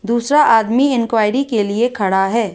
दूसरा आदमी इंक्वायरी के लिए खड़ा है।